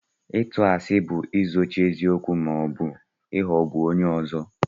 ịtù àsị bu izóchi eziokwu ma ọ bu ịghọgbu onye ọzọ